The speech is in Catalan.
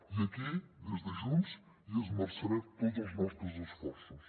i aquí des de junts hi esmerçarem tots els nostres esforços